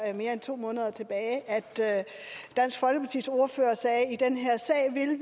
mere end to måneder tilbage at dansk folkepartis ordfører sagde at i den her sag ville